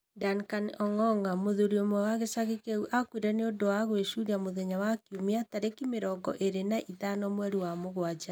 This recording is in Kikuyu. Duncan Ong’ong’a, mũthuri ũmwe wa gĩcagi kĩu aakuire nĩ ũndũ wa gũĩcũrĩa mũthenya wa kiumia, tarĩki mĩrongo ĩrĩ na ithano mweri wa mũgwanja.